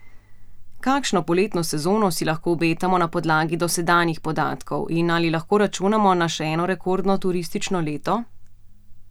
Kakšno poletno sezono si lahko obetamo na podlagi dosedanjih podatkov in ali lahko računamo na še eno rekordno turistično leto?